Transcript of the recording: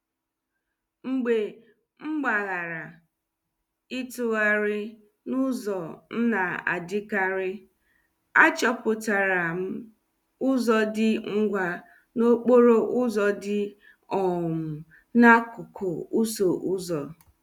Mgbe m gbaghara ịtụgharị n'ụzọ m na-adịkarị, achọpụtara m ụzọ dị ngwa n'okporo ụzọ dị um n'akụkụ ụsọ ụzo.